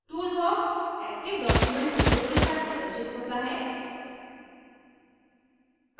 toolbox active document window के साथ प्रदर्शित होता है